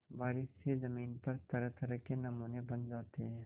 बारिश से ज़मीन पर तरहतरह के नमूने बन जाते हैं